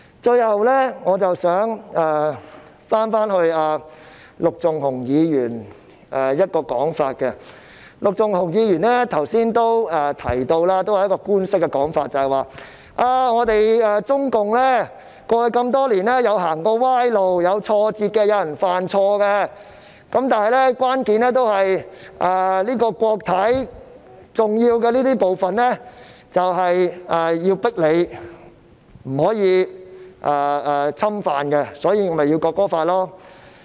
最後，我想回應陸頌雄議員的發言，陸頌雄議員剛才也提到一個官式說法，就是中共過去多年曾經走過歪路、遇到挫折、也有人犯錯，但關鍵在於國體的重要部分不能被侵犯，所以便要訂立《國歌法》。